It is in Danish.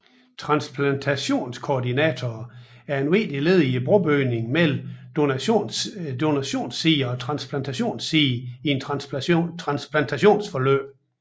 Transplantationskoordinatorer er et vigtigt led i brobygningen mellem donationssiden og transplantationssiden i et transplantationsforløb